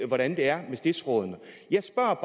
hvordan det er med stiftsrådene jeg spørger